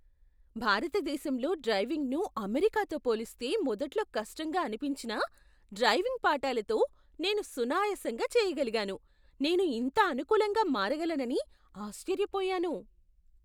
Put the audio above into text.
భారతదేశంలో డ్రైవింగ్ను అమెరికాతో పోలిస్తే మొదట్లో కష్టంగా అనిపించినా, డ్రైవింగ్ పాఠాలతో, నేను సునాయాసంగా చేయగలిగాను. నేను ఇంత అనుకూలంగా మారగలనని ఆశ్చర్యపోయాను!